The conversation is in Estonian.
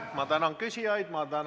Ma tänan küsijaid!